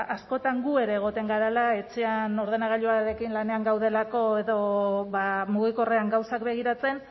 ba askotan gu ere egoten garela etxean ordenagailuarekin lanean gaudelako edo mugikorrean gauzak begiratzen